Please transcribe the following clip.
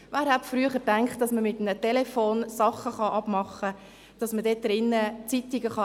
Wer hätte früher gedacht, dass man mit einem Telefon Dinge abmachen kann und dass man damit Zeitungen lesen kann.